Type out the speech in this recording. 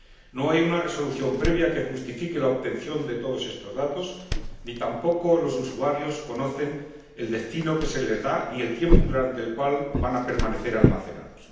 No hay una resolución previa que justifique la obtención de todos estos datos, ni tampoco los usuarios conocen el destino que se les da, ni el tiempo durante el cual van a permanecer almacenados.